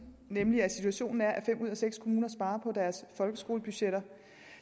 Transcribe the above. nemlig at situationen er at fem ud af seks kommuner sparer på deres folkeskolebudgetter